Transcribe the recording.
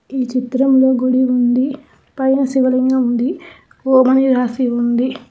ఈ చిత్రంలో గుడి ఉంది. పైన శివలింగం ఉంది. ఓం అని రాసి ఉంది.